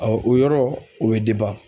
o yɔrɔ ,o be